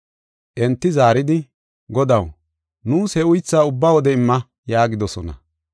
Enti zaaridi, “Godaw, nuus he uythaa ubba wode imma” yaagidosona.